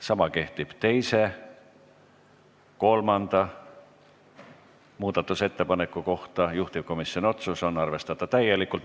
Sama kehtib teise ja kolmanda muudatusettepaneku kohta, juhtivkomisjoni otsus on arvestada täielikult.